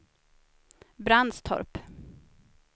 Brandstorp